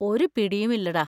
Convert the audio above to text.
ഒരു പിടിയും ഇല്ലെടാ.